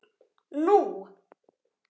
Nú